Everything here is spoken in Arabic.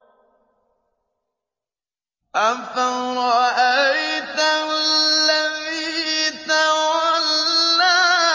أَفَرَأَيْتَ الَّذِي تَوَلَّىٰ